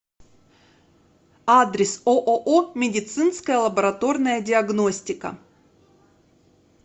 адрес ооо медицинская лабораторная диагностика